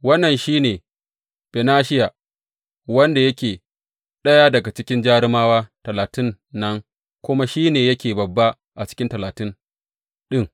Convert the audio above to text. Wannan shi ne Benahiya wanda yake ɗaya daga cikin jarumawa Talatin nan kuma shi ne yake babba a cikin Talatin ɗin.